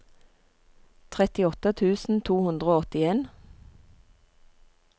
trettiåtte tusen to hundre og åttien